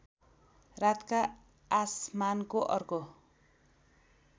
रातका आसमानको अर्को